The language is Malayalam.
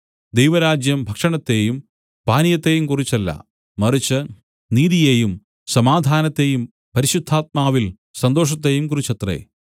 ദൈവരാജ്യം ഭക്ഷണത്തെയും പാനീയത്തെയും കുറിച്ചല്ല മറിച്ച് നീതിയെയും സമാധാനത്തെയും പരിശുദ്ധാത്മാവിൽ സന്തോഷത്തെയും കുറിച്ചത്രേ